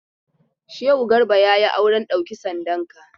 Shehu Garba ya yi auren ɗauki sandanka.